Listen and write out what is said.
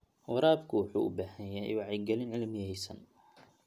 Waraabku wuxuu u baahan yahay wacyigelin cilmiyeysan.